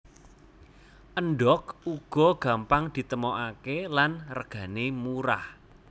Endhog uga gampang ditemokaké lan regané murah